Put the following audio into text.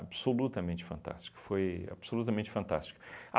absolutamente fantástica, foi absolutamente fantástica.